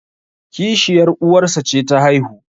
kishiyar uwarsa ce ta haihu